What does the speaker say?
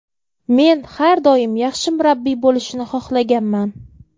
Men har doim yaxshi murabbiy bo‘lishni xohlaganman.